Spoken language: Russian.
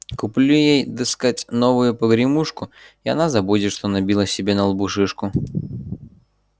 куплю ей дескать новую погремушку и она забудет что набила себе на лбу шишку